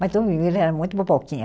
Mas ele era muito boboquinha.